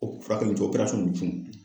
O furakɛli co n cun